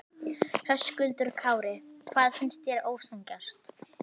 Höskuldur Kári: Þér finnst það ósanngjarnt?